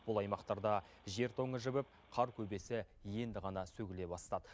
бұл аймақтарда жер тоңы жібіп қар көбесі енді ғана сөгіле бастады